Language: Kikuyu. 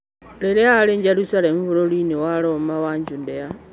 Rĩrĩa aarĩ Jerusalemu bũrũri-nĩ wa Roma wa Judea.